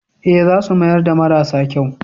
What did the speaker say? Ee, za su mayar da marasa kyau.